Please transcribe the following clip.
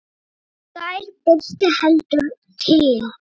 Í gær birti heldur til.